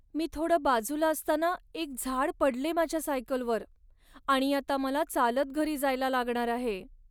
मी थोडं बाजूला असताना एक झाड पडले माझ्या सायकलवर, आणि आता मला चालत घरी जायला लागणार आहे.